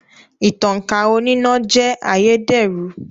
Ìtankà oníná jẹ́ ayédèrú